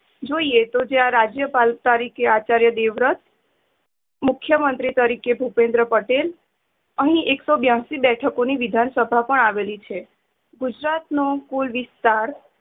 જોઈએ તો રાજય પાલ તરીકે આચાર્ય દેવરત મુખ્યમંત્રી તારીખે ભુપેન્દ્ર પટેલ. અહીં એક સો બ્યાશી બેઠકો ની વિધાનસભા પણ આવેલી છે. ગુજરાત નો કુલ વિસ્ત્તાર